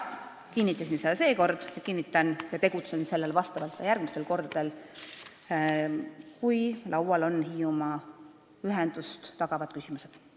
Kinnitasin seda seekord ning kinnitan ja tegutsen sellele vastavalt ka järgmistel kordadel, kui arutelu all on Hiiumaa ühendust tagavad küsimused.